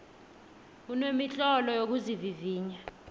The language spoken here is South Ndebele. kunemitlolo yokuzivivinya